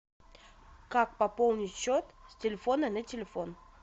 как пополнить счет с телефона на телефон